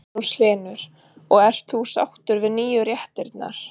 Magnús Hlynur: Og ert þú sáttur við nýju réttirnar?